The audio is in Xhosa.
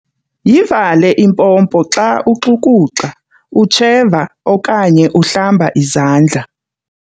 Yivale impompo xa uxukuxa, utsheva okanye uhlamba izandla.